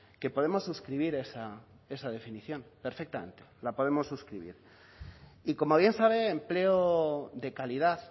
que podemos suscribir esa definición perfectamente la podemos suscribir y como bien sabe empleo de calidad